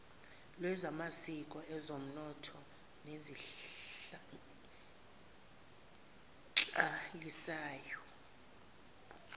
lwezamasiko ezonomnotho nezenhlalisano